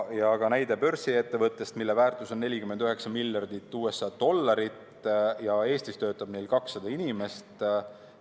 Oli ka näide börsiettevõtte kohta, mille väärtus on 49 miljardit USA dollarit ja Eestis töötab neil 200 inimest.